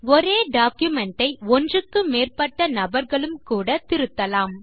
ஒரே டாக்குமென்ட் ஐ ஒன்றுக்கு மேற்பட்ட நபர்களும் கூட திருத்தலாம்